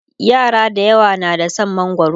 yara dayawa na da San mangwaro